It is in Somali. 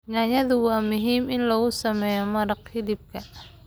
Yaanyada waa muhiim in lagu sameeyo maraqa hilibka.